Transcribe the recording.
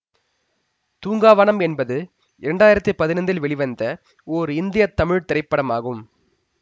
தூங்காவனம் என்பது இரண்டாயிரத்தி பதினைந்தில் வெளிவந்த ஓர் இந்திய தமிழ் திரைப்படம் ஆகும்